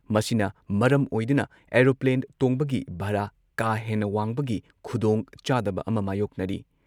ꯃꯁꯤꯅ ꯃꯔꯝ ꯑꯣꯏꯗꯨꯅ ꯑꯦꯔꯣꯄ꯭ꯂꯦꯟ ꯇꯣꯡꯕꯒꯤ ꯚꯔꯥ ꯀꯥ ꯍꯦꯟꯅ ꯋꯥꯡꯕꯒꯤ ꯈꯨꯗꯣꯡꯆꯥꯗꯕ ꯑꯃ ꯃꯥꯌꯣꯛꯅꯔꯤ ꯫